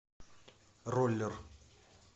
роллер